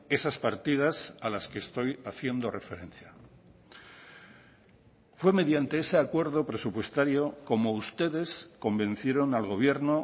esas partidas a las que estoy haciendo referencia fue mediante ese acuerdo presupuestario como ustedes convencieron al gobierno